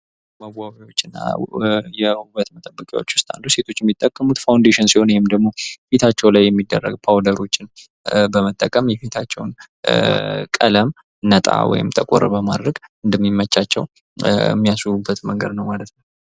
መዋቢያዎች እና የዉበት መጠበቂያዎች ዉስጥ አንዱ ሴቶች የሚጠቀሙት ፋውንዴሽን ሲሆን፤ ይሄም ደግሞ ፊታቸው ጋር የሚደረጉ ፓውደሮችን በመጠቀም የፊታቸው ቀለም ነጣ ወይም ጠቆር በማድረግ እንደሚመቻቸው የሚያስዉቡበት መንገድ ነው ማለት ነው።